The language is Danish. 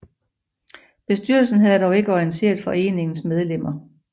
Bestyrelsen havde dog ikke orienteret foreningens medlemmer